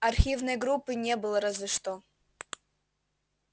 архивной группы не было разве что